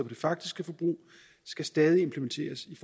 det faktiske forbrug skal stadig implementeres i